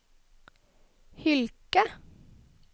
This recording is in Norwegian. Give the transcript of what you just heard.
Hylkje